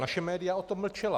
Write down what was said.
Naše média o tom mlčela.